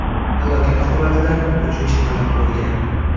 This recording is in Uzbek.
Halokat oqibatida uchuvchi halok bo‘lgan.